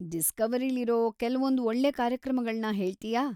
ಡಿಸ್ಕವರಿಲಿರೋ ಕೆಲ್ವೊಂದ್ ಒಳ್ಳೆ ಕಾರ್ಯಕ್ರಮಗಳ್ನ ಹೇಳ್ತೀಯಾ?